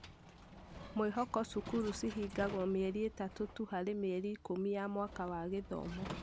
Mwĩhoko-Cukuru cihingagwo mĩeri ĩtatũ tu harĩ mĩeri ikumi ya mwaka wa gĩthomo.